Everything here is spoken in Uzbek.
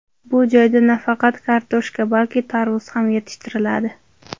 Bu joyda nafaqat kartoshka, balki tarvuz ham yetishtiriladi.